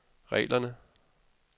reglerne